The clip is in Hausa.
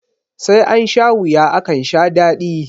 sai an sha wuya akan sha dadi